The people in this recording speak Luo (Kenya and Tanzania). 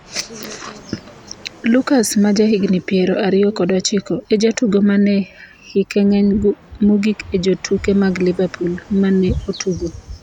Lucas ma jahigni piero ariyo kod ochiko , e jatugo mane hike ng'eny mogik e jotuke mag Liverpool mane otugo.